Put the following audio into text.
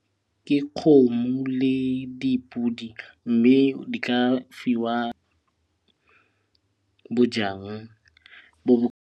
Ke kgomo le dipodi mme di ka fiwa bojang bo .